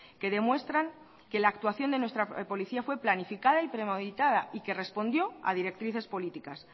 que demuestran que la actuación de nuestra policía fue planificada y premeditada y que respondió a directrices políticas